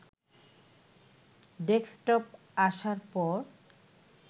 desktop আসার পর